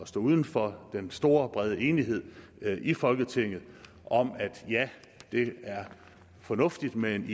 stå uden for den store brede enighed i folketinget om at ja det er fornuftigt med en